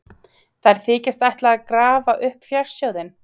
Þær þykjast ætla að grafa upp fjársjóðinn.